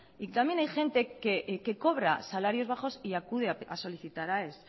y también hay gente que cobra salarios bajos y acude a solicitar aes